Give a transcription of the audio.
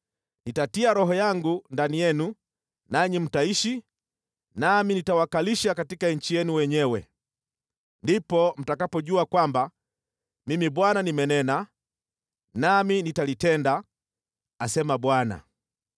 Nitatia Roho yangu ndani yenu nanyi mtaishi, nami nitawakalisha katika nchi yenu wenyewe. Ndipo mtakapojua kwamba Mimi Bwana nimenena, nami nitalitenda, asema Bwana !’”